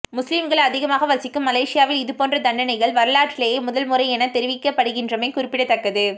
முஸ்லிம்கள் அதிகமாக வசிக்கும் மலேசியாவில் இதுபோன்ற தண்டனை வரலாற்றிலேயே முதல் முறை எனத் தெரிவிக்கப்படுகின்றமை குறிப்பிடத்தக்கது